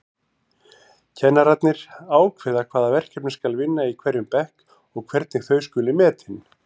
Kennararnir ákveða hvaða verkefni skal vinna í hverjum bekk og hvernig þau skuli metin.